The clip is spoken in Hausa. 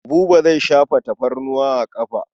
Buba zai shafa tafarnuwa a ƙafa.